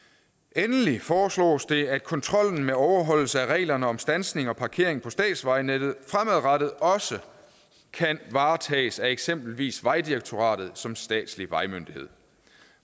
endelig foreslås det at kontrollen med overholdelse af reglerne om standsning og parkering på statsvejnettet fremadrettet også kan varetages af eksempelvis vejdirektoratet som statslig vejmyndighed